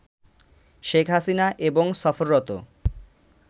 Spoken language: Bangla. শেখ হাসিনা এবং সফররত